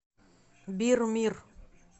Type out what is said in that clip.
бир мир